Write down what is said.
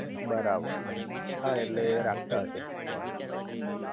બરાબર હા ઍટલે રાખતા હશે ભગવાન